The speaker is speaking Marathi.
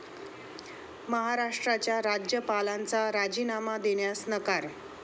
महाराष्ट्राच्या राज्यपालांचा राजीनामा देण्यास नकार